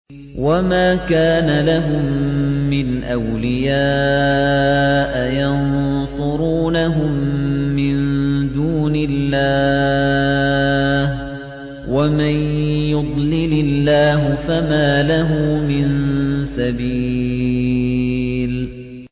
وَمَا كَانَ لَهُم مِّنْ أَوْلِيَاءَ يَنصُرُونَهُم مِّن دُونِ اللَّهِ ۗ وَمَن يُضْلِلِ اللَّهُ فَمَا لَهُ مِن سَبِيلٍ